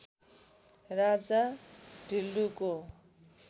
राजा ढिल्लुको